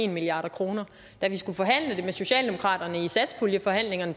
milliard kroner da vi skulle forhandle det med socialdemokraterne i satspuljeforhandlingerne